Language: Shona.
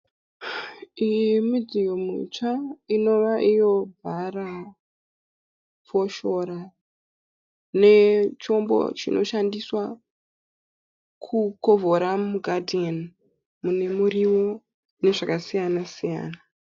Iyi midziyo mitsva Inova iyo hara, foshora nechombo chinoshandiswa kukovhora mugadheni mune muriwo nezvakasiyana siyana.